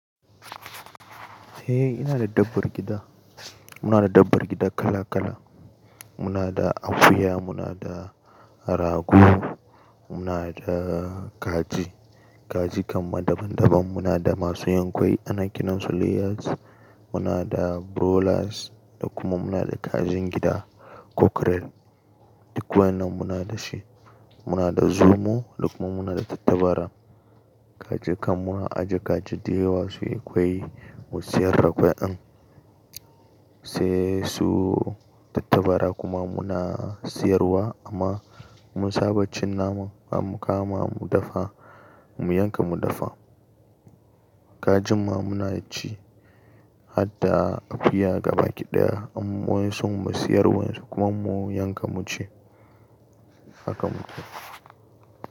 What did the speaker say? Eh, ina da dabbar gida. Muna da dabbar gida kala kala. Muna da akuya, muna da rago, muna da kaji. Kaji kaman daban daban. Muna da masu yankwai, ana kiran su layers. Muna da brolas, da kuma muna da kajin gida, cockerel. Duk wannan muna da shi. Muna da zumo, duk kuma muna da tattabara. Kaji kam muna ajiye kajindayawa su yi kwai, mu siyar da kwai an. Sai su tattabara kuma muna siyarwa amma mun saba cin naman, zamu kama mu dafa, mu yanka mu dafa. Kajin ma muna ci, har da akuya gaba ki daya in wayansu mu siyar wayansu kuma mun yanka mu ci. Haka muke.